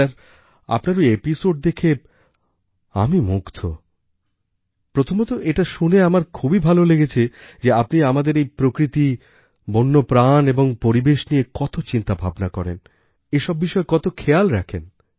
sir আপনার ওই episode দেখে আমি মুগ্ধ প্রথমত এটা শুনে আমার খুবই ভালো লেগেছে যে আপনি আমাদের এই প্রকৃতি বন্যপ্রাণ এবং পরিবেশ নিয়ে কত চিন্তাভাবনা করেন এ সব বিষয়ে কত খেয়াল রাখেন